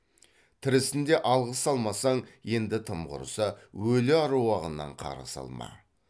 тірісінде алғыс алмасаң енді тым құрыса өлі аруағынан қарғыс алма